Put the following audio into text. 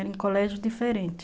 Era um colégio diferente.